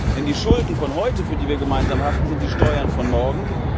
Denn die Schulden von heute, für die wir gemeinsam haften, sind die Steuern von morgen.